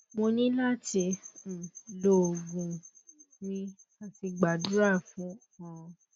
mo ni lati um lo ogun um mi ati gbadura fun orun